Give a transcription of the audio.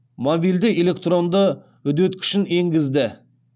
мобильді электронды үдеткішін енгізді